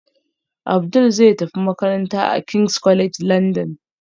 Abdul zai tafi makaranta a king's college london